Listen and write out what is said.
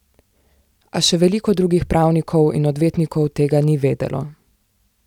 A še veliko drugih pravnikov in odvetnikov tega ni vedelo.